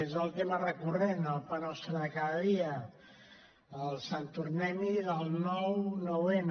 és el tema recurrent el pa nostre de cada dia el sant tornem hi del nou nou n